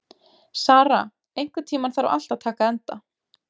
Sara, einhvern tímann þarf allt að taka enda.